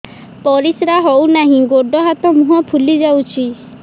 ପରିସ୍ରା ହଉ ନାହିଁ ଗୋଡ଼ ହାତ ମୁହଁ ଫୁଲି ଯାଉଛି